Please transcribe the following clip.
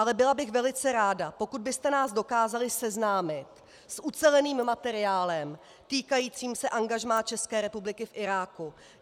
Ale byla bych velice ráda, pokud byste nás dokázali seznámit s uceleným materiálem týkajícím se angažmá České republiky v Iráku.